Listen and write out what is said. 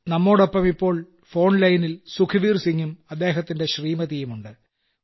നമ്മോടൊപ്പം ഇപ്പോൾ ഫോൺലൈനിൽ സുഖ്ബീർസിംഗും അദ്ദേഹത്തിന്റെ ശ്രീമതിയും ഉണ്ട്